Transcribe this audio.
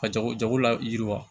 Ka jago jago la yiriwa